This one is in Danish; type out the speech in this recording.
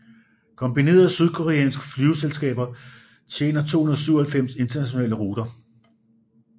Kombinerede sydkoreanske flyselskaber tjener 297 internationale ruter